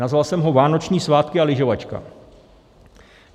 Nazval jsem ho vánoční svátky a lyžovačka.